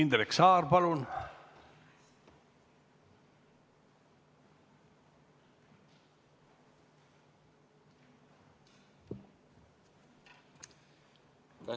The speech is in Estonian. Indrek Saar, palun!